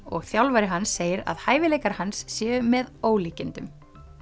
og þjálfari hans segir að hæfileikar hans séu með ólíkindum